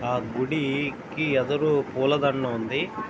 ఆ గుడీ కి ఎదరు పూల దండ ఉంది.